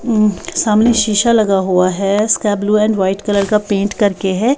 हम्म सामने शीशा लगा हुआ है sky blue and white colour का पेंट करके है।